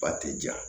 Ba ti ja